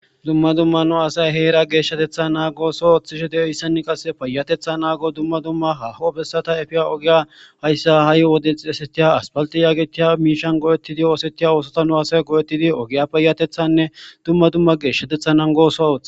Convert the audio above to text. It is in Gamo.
dumma dumma nu asay heera geeshshatetha naa gooso ooththishe de7ohissani qas payatetha naago dumma dumma haho bessata efiya ogiya hayssa ha7i wode xesetiya aspalti yaagetiya miishan go7ettidi oosetiya oosota nu asay goo7ettidi ogiya payatethanne dumma dumma geeshshatethannan gooso ooth